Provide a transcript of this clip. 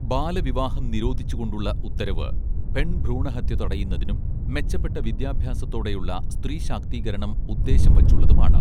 ബാലവിവാഹം നിരോധിച്ചു കൊണ്ടുള്ള ഉത്തരവ് പെൺഭ്രൂണഹത്യ തടയുന്നതിനും മെച്ചപ്പെട്ട വിദ്യാഭ്യാസത്തോടെയുള്ള സ്ത്രീ ശാക്തീകരണം ഉദ്ദേശം വച്ചുള്ളതുമാണ്